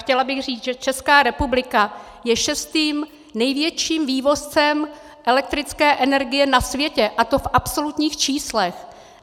Chtěla bych říct, že Česká republika je šestým největším vývozcem elektrické energie na světě, a to v absolutních číslech.